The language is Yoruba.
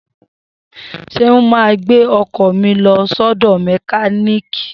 Seun ma gbẹ́ ọkọ̀ mi lọ sọ́dọ̀ mẹkíníìkì